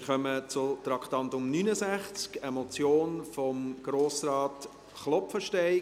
Wir kommen zum Traktandum 69, einer Motion von Grossrat Klopfenstein: